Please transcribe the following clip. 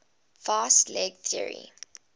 fast leg theory